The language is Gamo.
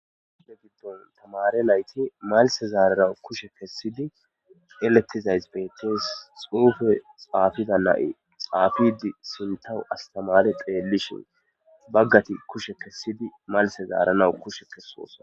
Ude giddon tamare layti malse zaararau kushe kessidi eletizays bettes; xuufe xaafiza nai xaafidi sintawu astamare xeellishin baggati kushe kessidi malse zaaranawu kushe kessosa.